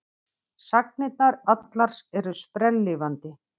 Sagnirnar allar eru sprelllifandi.